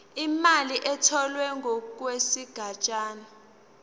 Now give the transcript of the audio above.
imali etholwe ngokwesigatshana